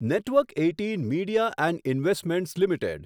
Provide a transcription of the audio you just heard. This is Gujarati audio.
network Eighteen Media and Investments limited